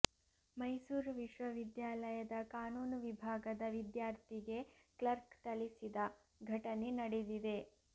ಮೈಸೂರು ವಿಶ್ವವಿದ್ಯಾಲಯದ ಕಾನೂನು ವಿಭಾಗದ ವಿದ್ಯಾರ್ಥಿಗೆ ಕ್ಲರ್ಕ್ ಥಳಿಸಿದ ಘಟನೆ ನಡೆದಿದೆ